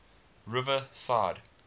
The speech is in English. riverside